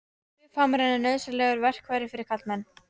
Buffhamarinn er nauðsynlegt verkfæri fyrir karlmenn.